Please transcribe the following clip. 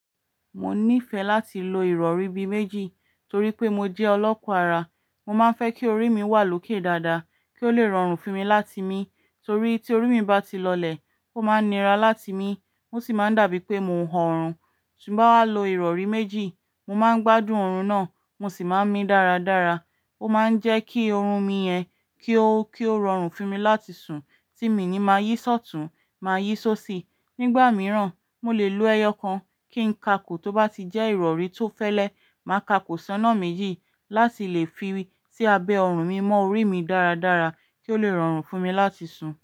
Mo nífẹ̀ẹ́ láti lo ìrọ̀rí bí méjì torí pé mo jẹ́ ọlọ́kọ ara. Mo máa ń fẹ́ kí orí mi wà lókè dáadáa kí ó le rọrùn fún mi láti mi torí tí orí mi bá ti lọlẹ̀, ó máa ń nira láti mi, o sì máa ń dàbí pé mò ń ho ọ̀rùn. Ti n ba wá lo ìrọ̀rí méjì, mo máa ń gbádùn ọ̀rùn náà, mo sì máa ń mi dáradára. Ó máa ń jẹ́ kí oòrùn mi yẹn kí ó, kí ó rọrùn fún mi láti sùn, tí mi i ní máa yí ṣọtùn, máa yí ṣóṣi. Nígbà mìíràn, mo lè lo ẹyọkan kí ń kàko tó bá ti jẹ́ ìrọ̀rí tó fẹ́lẹ́, màá kàkò sọ́nà méjì láti lè fi sí abẹ́ ọ̀rùn mi mọ orí mi dáradára kí ó le rọrùn fún mi láti sùn.